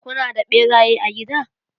Kuna da ɓeraye a gida?